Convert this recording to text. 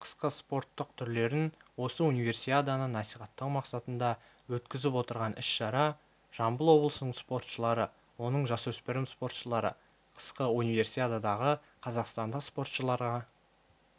қысқы спорттық түрлерін осы универсиаданы насихаттау мақсатында өткізіп отырған іс-шара жамбыл облысының спортшылары оның жасөспірім спортшылары қысқы универсиададағы қазақстандық спортшыларға